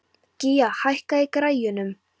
Gía, hækkaðu í græjunum.